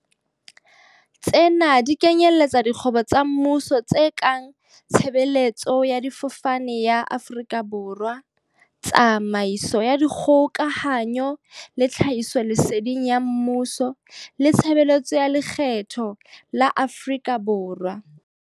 Tsena di kenyeletsa dikgwebo tsa mmuso tse kang Tshe beletso ya Difofane ya Afrika Borwa, Tsamaiso ya Dikgoka hanyo le Tlhahisoleseding ya Mmuso le Tshebeletso ya Lekgetho ya Afrika Borwa.